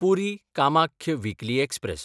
पुरी–कामाख्य weekly express